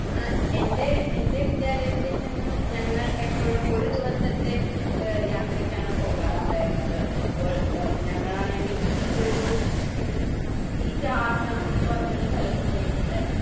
ആഹ് എൻ്റെ എൻ്റെ വിദ്യാലയത്തിൽ നിന്നും ഞങ്ങൾ എപ്പോഴും ഒരു ദിവസത്തെ ഏഹ് യാത്രക്കാണ് പോകാറുണ്ടായിരുന്നത്. അപ്പോ ഏഹ് ഞങ്ങളാണെങ്കിൽ ഒരു യീഷാ ആശ്രമം എന്ന ഒരു സ്ഥലത്ത് പോയിട്ടുണ്ടാർന്നു.